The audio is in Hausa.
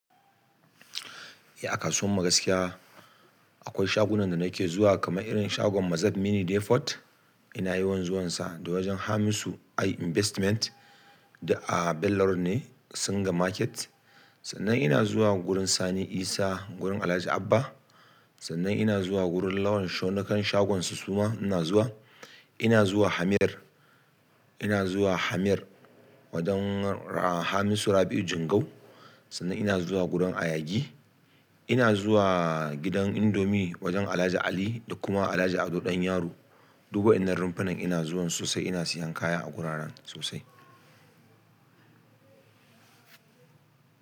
Eh, a kasuwar mu gaskiya akwai shagunan da nake zuwa kamar irin shagon Mazad Mini Depot, ina yawan zuwansa da wajen Hamisu AI Investment duk a Bello road ne Singa Market. Sannan ina zuwa gurin sani isa gurin Alhaji abba. Sannan ina zuwa lawan show nakan shagonsu suma ina zuwa. Ina zuwa Hamir, ina zuwa Hamir wajen ra-- Hamisu Rabi'u Jingau. Sannan ina zuwa gudan Ayagi. Ina zuwa gidan Indomie wajen Alhaji Ali da kuma Alhaji Ado Dan Yaro. Duk waƴannan rumfunan ina zuwan sosai ina siyan kaya a guraren sosai.